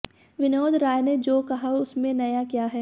विनोद राय ने जो कहा उसमें नया क्या है